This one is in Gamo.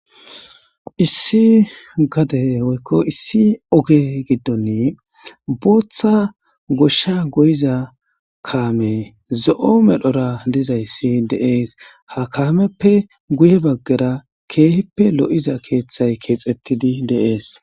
Issi gade woykko issi oge giddoni booththa goshsha goyiza kaame zo7o medhora dizayssi deees ha kaameppe guye baggera keehippe lo7iza keeththay keexettidi deees.